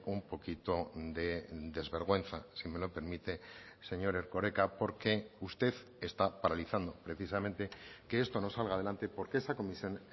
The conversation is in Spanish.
un poquito de desvergüenza si me lo permite señor erkoreka porque usted está paralizando precisamente que esto no salga adelante porque esa comisión